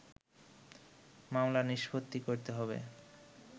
মামলা নিষ্পত্তি করতে হবে